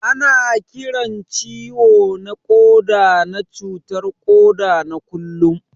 Ana Kiran ciwo na Koda na cutar koda na kullum.